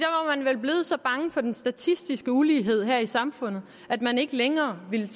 så bange for den statistiske ulighed her i samfundet at man ikke længere ville